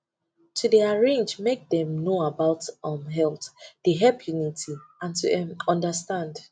to dey arrange make dem know about um mental dey help unity and to um understand